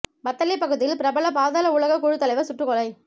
வத்தளை பகுதியில் பிரபல பாதாள உலகக் குழுத் தலைவர் சுட்டுக் கொலை